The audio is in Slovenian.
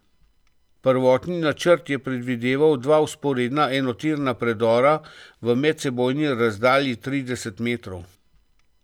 Prvotni načrt je predvideval dva vzporedna enotirna predora v medsebojni razdalji trideset metrov.